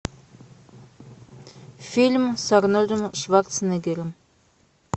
фильм с арнольдом шварценеггером